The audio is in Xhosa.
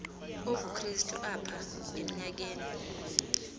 obukrestu apha emnyakeni